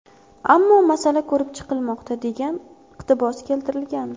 Ammo masala ko‘rib chiqilmoqda”, degan iqtibos keltirilgandi.